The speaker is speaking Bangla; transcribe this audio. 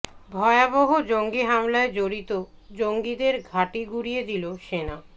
ভয়াবহ জঙ্গি হামলায় জড়িত জঙ্গিদের ঘাঁটি গুঁড়িয়ে দিল সেনা